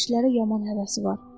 Kişilərə yaman həvəsi var.